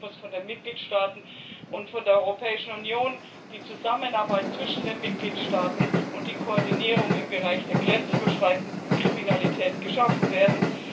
Sicherheit muss von den Mitgliedstaaten und von der Europäischen Union in Zusammenarbeit zwischen den Mitgliedstaaten und durch die Koordinierung im Bereich der grenzüberschreitenden Kriminalität geschaffen werden.